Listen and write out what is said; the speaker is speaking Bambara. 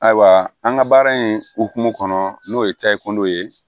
Ayiwa an ka baara in hokumu kɔnɔ n'o ye tayi kundow ye